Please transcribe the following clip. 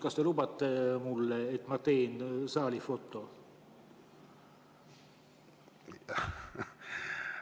Kas te lubate, et ma teen saalist foto?